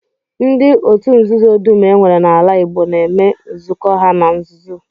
Ndị otu nzuzo dum e nwere n'ala Igbo na-eme nzukọ ha na nzuzo